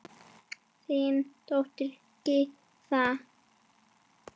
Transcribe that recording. Þín dóttir, Gyða.